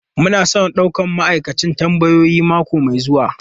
Muna son daukar ma'aikacin tambayoyi mako mai zuwa.